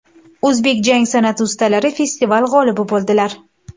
O‘zbek jang san’ati ustalari festival g‘olibi bo‘ldilar.